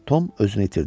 Tom özünü itirdi.